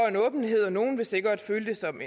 en åbenhed nogle vil sikkert føle det som